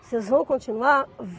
Vocês vão continuar?